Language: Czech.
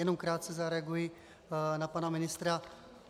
Jenom krátce zareaguji na pana ministra.